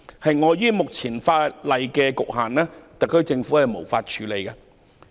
基於現行法例的局限，特區政府無法處理這項要求。